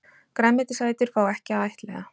Grænmetisætur fá ekki að ættleiða